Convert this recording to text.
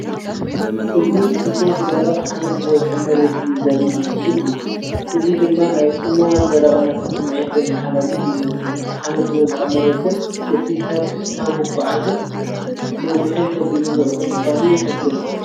እዚ ክፉት፣ ደረቕ፣ ሓመድ ዝበዝሖ መሬት እዩ ዘርኢ ምስሊ እዩ ። እዚ ድማ ናይ ጽምዋን ደረቕነትን ስምዒት ዘመሓላልፍ ይመስል። እቲ ሓመድ ዝበዝሖ መሬትን እቲ ሰብ ብሕታዊ ምጉዓዝን ነዊሕን ከቢድን ጉዕዞ ምዃኑ ይሕብር።